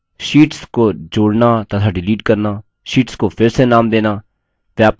sheets को जोड़ना तथा डिलीट करना शीट्स को फिर से नाम देना